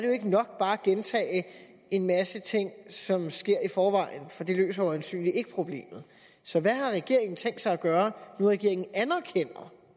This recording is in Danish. jo ikke nok bare at gentage en masse ting som sker i forvejen for det løser jo øjensynligt ikke problemet så hvad har regeringen tænkt sig at gøre når nu regeringen anerkender